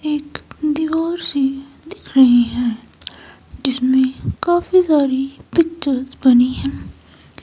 एक दीवार सी दिख रही है जिसमें काफी सॉरी पिक्चर्स बनी है।